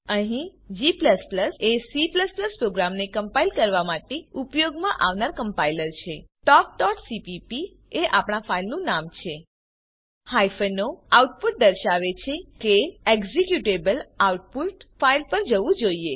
અહીં g એ C પ્રોગ્રામને કમ્પાઈલ કરવા માટે ઉપયોગમાં આવનાર કમ્પાઈલર છે talkસીપીપી એ આપણા ફાઈલનું નામ છે હાયફ્ન ઓ આઉટપુટ દર્શાવે છે કે એક્ઝીક્યુટેબલ આઉટપુટ ફાઈલ પર જવું જોઈએ